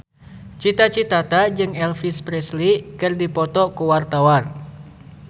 Cita Citata jeung Elvis Presley keur dipoto ku wartawan